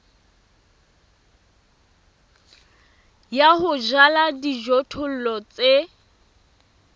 ya ho jala dijothollo tse